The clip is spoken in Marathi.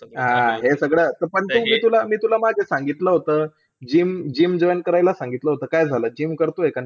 हा, हे सगळं तुला मी, तुला मी मागे सांगितलं होतं. GYM GYM join करायला सांगितलं होतं. काय करतोय? GYM करतोय का नाही?